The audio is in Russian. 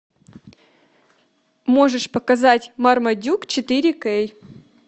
можешь показать мармадюк четыре кей